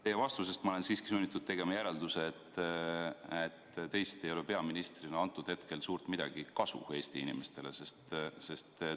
Teie vastusest ma olen siiski sunnitud tegema järelduse, et teist ei ole peaministrina praegu Eesti inimestele suurt midagi kasu.